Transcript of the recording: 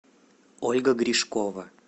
ольга гришкова